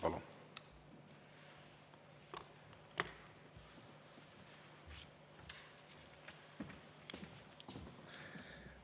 Palun!